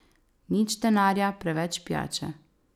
Nič denarja, preveč pijače.